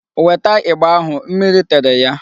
Weta ịgba ahụ. Mmiri tere ya.